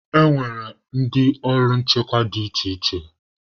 E nwere ndị ọrụ nchekwa dị iche iche.